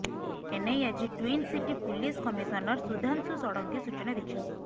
ଏନେଇ ଆଜି twin city police commissioner Sudhanshu Sarangi ସୂଚନା ଦେଇଛନ୍ତି